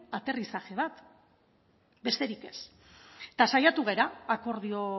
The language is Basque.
aterrizaje bat besterik ez eta saiatu gara akordio